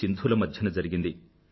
సింధూ ల మధ్యన జరిగింది